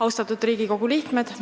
Austatud Riigikogu liikmed!